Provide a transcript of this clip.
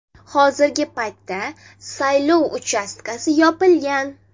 Hozirgi paytda saylov uchastkasi yopilgan.